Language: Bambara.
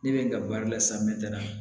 Ne bɛ n ka baara la sa mɛ